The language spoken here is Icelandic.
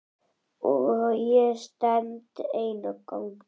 Og ég stend ein á ganginum.